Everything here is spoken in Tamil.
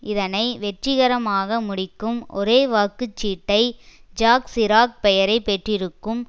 இதனை வெற்றிகரமாக முடிக்கும் ஒரே வாக்கு சீட்டை ஜாக் சிராக் பெயரை பெற்றிருக்கும்